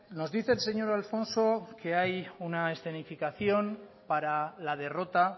nos dice el señor alfonso que hay una escenificación para la derrota